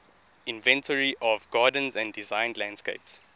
inventory of gardens and designed landscapes